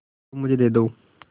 तुम मुझे दे दो